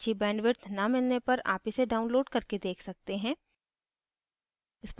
अच्छी bandwidth न मिलने पर आप इसे download करके देख सकते हैं